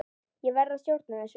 Ég verð að stjórna þessu.